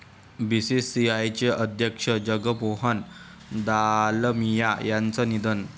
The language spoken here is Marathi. बीसीसीआयचे अध्यक्ष जगमोहन दालमिया यांचं निधन